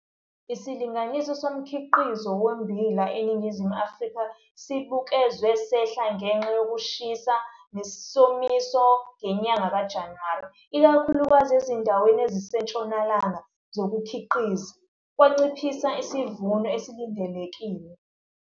Isilinganiso somkhiqizo wommbila eNingizimu Afrika sibukezwe sehla ngenxa yokushisa nesomiso ngenyanga kaJanuwari, ikakhulukazi ezindaweni ezisentshonalanga zokukhiqiza, kwanciphisa isivuno esilindelekile.